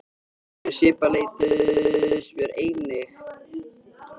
Grunuð kona er annað en grunuð móðir.